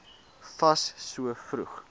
fas so vroeg